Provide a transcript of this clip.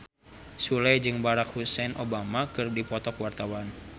Sule jeung Barack Hussein Obama keur dipoto ku wartawan